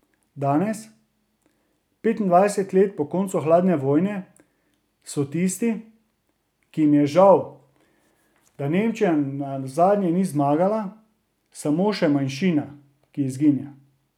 Danes, petindvajset let po koncu hladne vojne, so tisti, ki jim je žal, da Nemčija nazadnje ni zmagala, samo še manjšina, ki izginja.